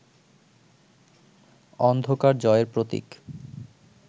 অন্ধকার জয়ের প্রতীক